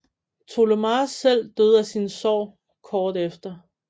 Tollemache selv døde af sine sår kort efter